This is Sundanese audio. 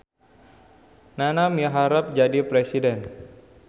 Nana miharep jadi presiden